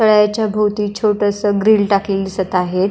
तळ्याच्या भवती छोटंसं ग्रील टाकलेलं दिसत आहेत.